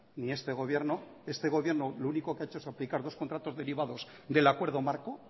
ni este gobierno este gobierno lo único que ha hecho es aplicar dos contratos derivados del acuerdo marco